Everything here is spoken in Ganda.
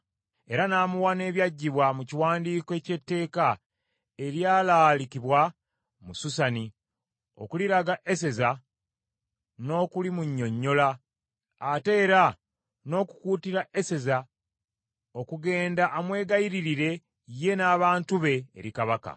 Era n’amuwa n’ebyaggyibwa mu kiwandiiko eky’etteeka eryalaalikibwa mu Susani, okuliraga Eseza n’okulimunnyonnyola ate era n’okukuutira Eseza okugenda amwegayiririre ye n’abantu be eri Kabaka.